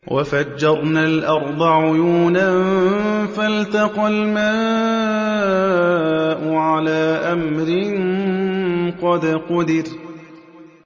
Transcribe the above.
وَفَجَّرْنَا الْأَرْضَ عُيُونًا فَالْتَقَى الْمَاءُ عَلَىٰ أَمْرٍ قَدْ قُدِرَ